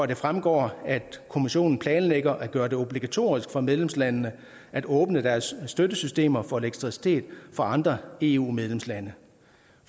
det fremgår at kommissionen planlægger at gøre det obligatorisk for medlemslandene at åbne deres støttesystemer for elektricitet fra andre eu medlemslande